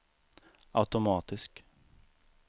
automatisk